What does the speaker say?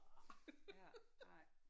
Ja ej